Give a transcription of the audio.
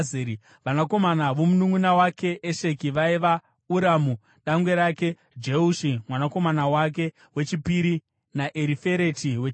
Vanakomana vomununʼuna wake Esheki vaiva: Uramu dangwe rake, Jeushi mwanakomana wake wechipiri naErifereti wechitatu.